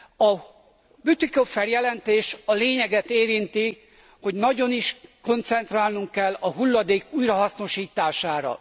A Bütikofer jelentés a lényeget érinti, hogy nagyon is koncentrálnunk kell a hulladék újrahasznosítására.